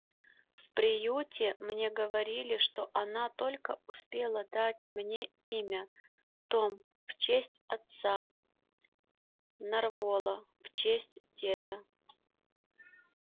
в приюте мне говорили что она только успела дать мне имя том в честь отца нарволо в честь деда